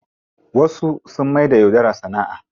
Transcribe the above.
Wasu sun maida yaudara sana'a.